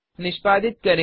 निष्पादित करें